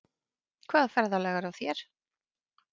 Hvaða ferðalag er á þér?